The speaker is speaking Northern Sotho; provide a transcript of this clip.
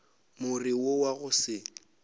more wo wa go se